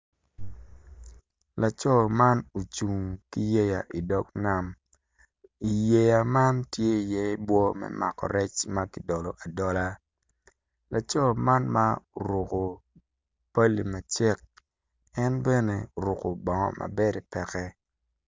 Laco man ocung ki yeya i dog nam yeya man tye iye bwo me mako rec ma ki dolo adolo laco man ma oruku pali macek en bene orukku bongo ma bede pekke